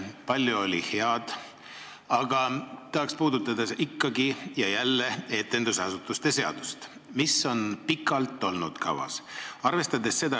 Palju oli head, aga tahaks ikka ja jälle puudutada etendusasutuste seadust, mis on pikalt kavas olnud.